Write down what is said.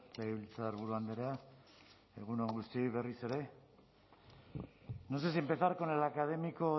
legebiltzarburu andrea egun on guztioi berriz ere no sé si empezar con el académico